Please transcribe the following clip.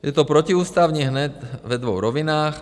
Je to protiústavní hned ve dvou rovinách.